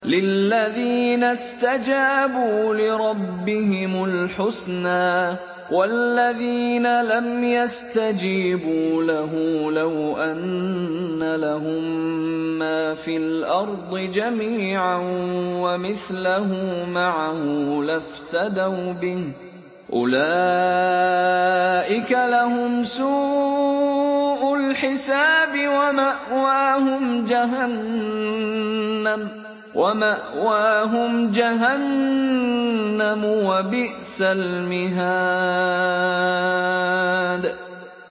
لِلَّذِينَ اسْتَجَابُوا لِرَبِّهِمُ الْحُسْنَىٰ ۚ وَالَّذِينَ لَمْ يَسْتَجِيبُوا لَهُ لَوْ أَنَّ لَهُم مَّا فِي الْأَرْضِ جَمِيعًا وَمِثْلَهُ مَعَهُ لَافْتَدَوْا بِهِ ۚ أُولَٰئِكَ لَهُمْ سُوءُ الْحِسَابِ وَمَأْوَاهُمْ جَهَنَّمُ ۖ وَبِئْسَ الْمِهَادُ